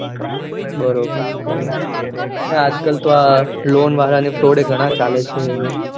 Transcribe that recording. બરોબર બરોબર ને આજકાલ તો આ Loan વાળા ના froud પણ ઘણા ચાલે છે